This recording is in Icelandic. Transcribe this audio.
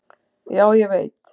"""Já, ég veit"""